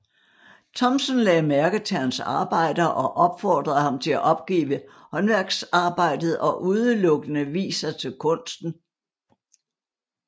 Thomsen lagde mærke til hans arbejder og opfordrede ham til at opgive håndværksarbejdet og udelukkende vie sig til kunsten